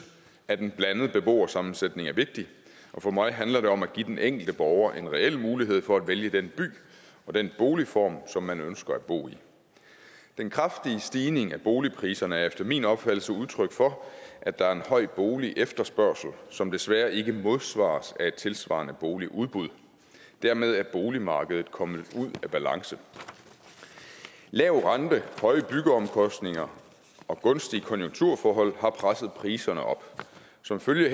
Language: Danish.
at en blandet beboersammensætning er vigtig og for mig handler det om at give den enkelte borger en reel mulighed for at vælge den by og den boligform som man ønsker at bo i den kraftige stigning i boligpriserne er efter min opfattelse et udtryk for at der er en høj boligefterspørgsel som desværre ikke modsvares af et tilsvarende boligudbud dermed er boligmarkedet kommet ud af balance lav rente høje byggeomkostninger og gunstige konjunkturforhold har presset priserne op som følge